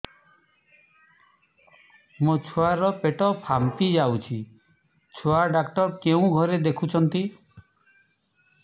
ମୋ ଛୁଆ ର ପେଟ ଫାମ୍ପି ଯାଉଛି ଛୁଆ ଡକ୍ଟର କେଉଁ ଘରେ ଦେଖୁ ଛନ୍ତି